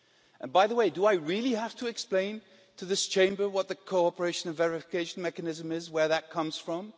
And by the way, do I really have to explain to this Chamber what the Cooperation and Verification Mechanism is, where that comes from?